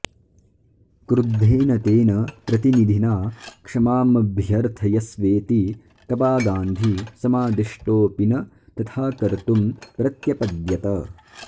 क्रुद्धेन तेन प्रतिनिधिना क्षमामभ्यर्थयस्वेति कबा गान्धी समादिष्टोऽपि न तथाकर्तुं प्रत्यपद्यत